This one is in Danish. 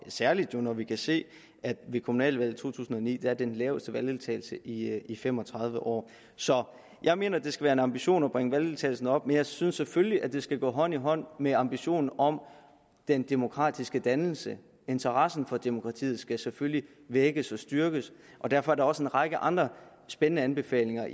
særlig når vi kan se at der ved kommunalvalget i to tusind og ni var den laveste valgdeltagelse i i fem og tredive år så jeg mener det skal være en ambition at bringe valgdeltagelsen op men jeg synes selvfølgelig at det skal gå hånd i hånd med ambitionen om den demokratiske dannelse interessen for demokratiet skal selvfølgelig vækkes og styrkes og derfor er der også en række andre spændende anbefalinger